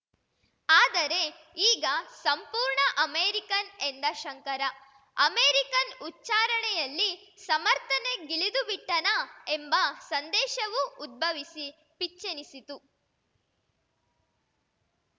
ಆದರೆ ಈಗ ಸಂಪೂರ್ಣ ಅಮೇರಿಕನ್‌ ಎಂದ ಶಂಕರ ಅಮೇರಿಕನ್‌ ಉಚ್ಛಾರಣೆಯಲ್ಲಿ ಸಮರ್ಥನೆಗಿಳಿದುಬಿಟ್ಟನಾ ಎಂಬ ಸಂದೇಷವು ಉದ್ಭವಿಸಿ ಪಿಚ್ಚೆನಿಸಿತು